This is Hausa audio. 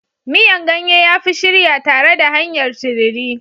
Miyan ganye ya fi shirya tare da hanyar tururi.